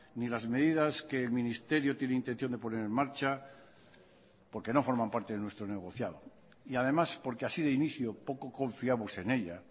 ni las medidas que el ministerio tiene intención de poner en marcha porque no forman parte de nuestro negociado y además porque así de inicio poco confiamos en ella